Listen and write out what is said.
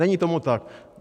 Není tomu tak.